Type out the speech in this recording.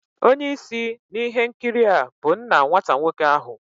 Onye isi na ihe nkiri a bụ nna nwata nwoke ahu